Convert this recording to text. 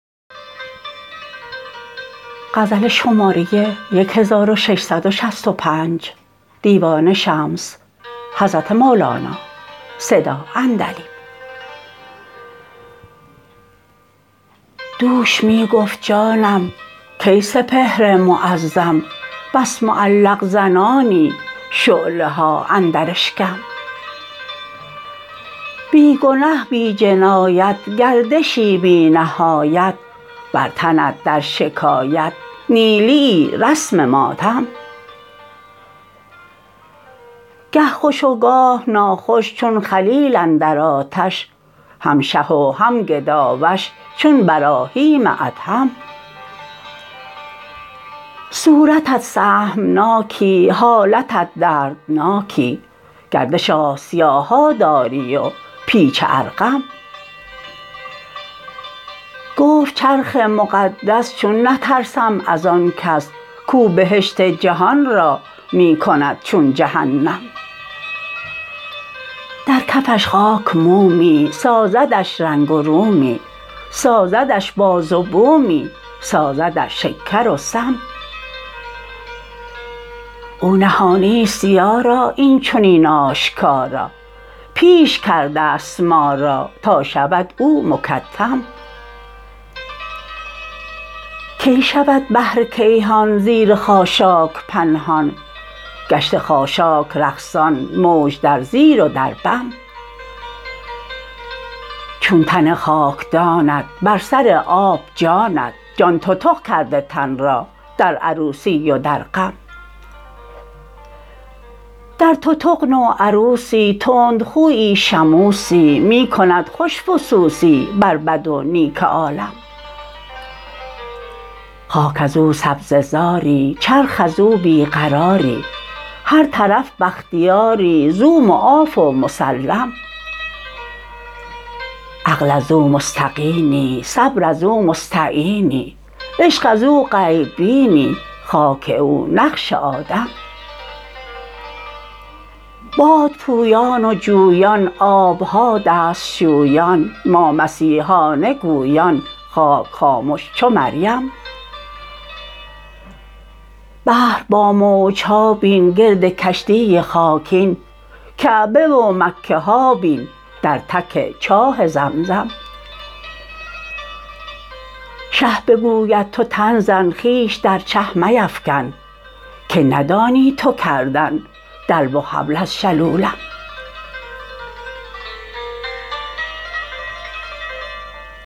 دوش می گفت جانم کی سپهر معظم بس معلق زنانی شعله ها اندر اشکم بی گنه بی جنایت گردشی بی نهایت بر تنت در شکایت نیلیی رسم ماتم گه خوش و گاه ناخوش چون خلیل اندر آتش هم شه و هم گداوش چون براهیم ادهم صورتت سهمناکی حالتت دردناکی گردش آسیاها داری و پیچ ارقم گفت چرخ مقدس چون نترسم از آن کس کو بهشت جهان را می کند چون جهنم در کفش خاک مومی سازدش رنگ و رومی سازدش باز و بومی سازدش شکر و سم او نهانی است یارا این چنین آشکارا پیش کرده است ما را تا شود او مکتم کی شود بحر کیهان زیر خاشاک پنهان گشته خاشاک رقصان موج در زیر و در بم چون تن خاکدانت بر سر آب جانت جان تتق کرده تن را در عروسی و در غم در تتق نوعروسی تندخویی شموسی می کند خوش فسوسی بر بد و نیک عالم خاک از او سبزه زاری چرخ از او بی قراری هر طرف بختیاری زو معاف و مسلم عقل از او مستقینی صبر از او مستعینی عشق از او غیب بینی خاک او نقش آدم باد پویان و جویان آب ها دست شویان ما مسیحانه گویان خاک خامش چو مریم بحر با موج ها بین گرد کشتی خاکین کعبه و مکه ها بین در تک چاه زمزم شه بگوید تو تن زن خویش در چه میفکن که ندانی تو کردن دلو و حبل از شلولم